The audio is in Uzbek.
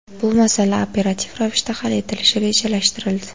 Bu masala operativ ravishda hal etilishi rejalashtirildi.